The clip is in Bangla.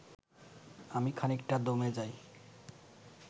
আমি খানিকটা দমে যাই